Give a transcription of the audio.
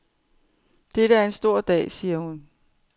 Dette er en stor dag, siger hun.